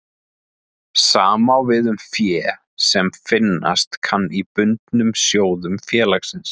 Sama á við um fé sem finnast kann í bundnum sjóðum félagsins.